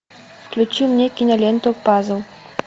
включи мне киноленту пазл